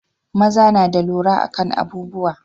maza na da lura akan abubuwa